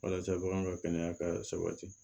Walasa bagan ka kɛnɛya ka sabati